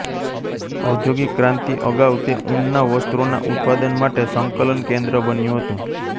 ઔદ્યોગિક ક્રાંતિ અગાઉ તે ઊનના વસ્ત્રોના ઉત્પાદન માટે સંકલન કેન્દ્ર બન્યું હતું